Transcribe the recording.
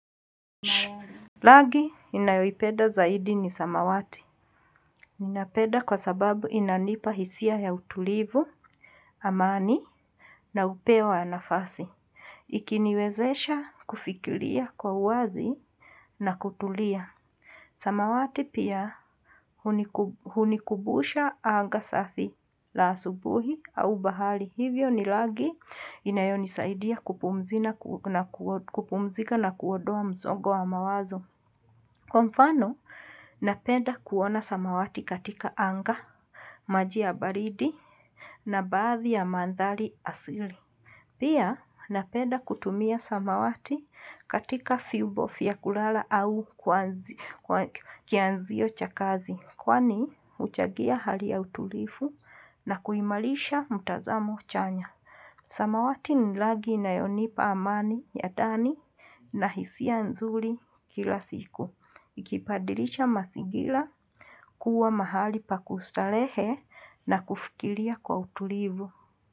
Rangi ninayoipeda zaidi ni samawati. Ninapenda kwa sababu inanipa hisia ya utulivu, amani na upewa nafasi. Ikiniwezesha kufikiria kwa uwazi na kutulia. Samawati pia hunikumbusha anga safi la asubuhi au bahari. Hivyo ni rangi inayonisaidia kupumzika na kuondoa msongo wa mawazo. Kwa mfano, napenda kuona samawati katika anga, maji ya baridi na baadhi ya mandhari asili. Pia, napenda kutumia samawati katika vyombo vya kulala au kianzio cha kazi kwani huchagia hali ya utulifu na kuimarisha mtanzamo chanya. Samawati ni rangi inayonipa amani ya ndani na hisia nzuri kila siku. Ikibadilisha mazingira kuwa mahali pa kustarehe na kufikiria kwa utulivu.